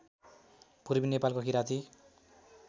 पूर्वी नेपालको किराँती